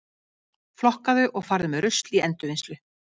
Flokkaðu og farðu með rusl í endurvinnslu.